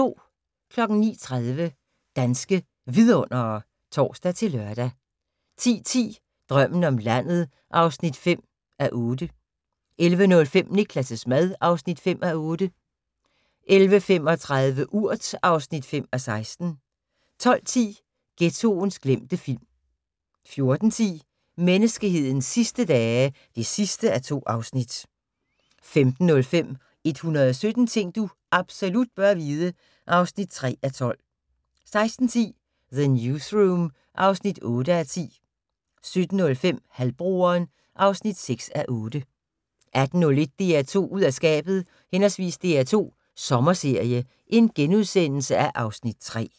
09:30: Danske Vidundere (tor-lør) 10:10: Drømmen om landet (5:8) 11:05: Niklas' mad (5:8) 11:35: Urt (5:16) 12:10: Ghettoens glemte film 14:10: Menneskehedens sidste dage (2:2) 15:05: 117 ting du absolut bør vide (3:12) 16:10: The Newsroom (8:10) 17:05: Halvbroderen (6:8) 18:01: DR2 ud af skabet/ DR2 Sommerserie (Afs. 3)*